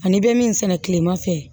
Ani bɛ min sɛnɛ kilema fɛ